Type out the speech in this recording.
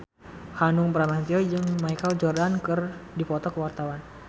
Hanung Bramantyo jeung Michael Jordan keur dipoto ku wartawan